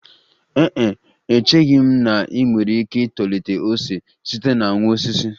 Ee e, echeghị m na ị nwere ike itolite ose site na nwa osisi